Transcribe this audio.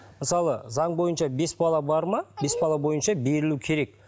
мысалы заң бойынша бес бала бар ма бес бала бойынша берілу керек